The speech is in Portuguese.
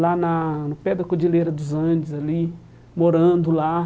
lá na no pé da Cordilheira dos Andes ali, morando lá.